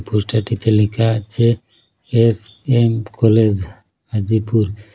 পোস্টারটিতে লেখা আছে S M college Hajipur.